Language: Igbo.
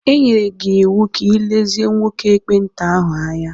E nyere gị iwu ka ị lezie nwoke ekpenta ahụ anya.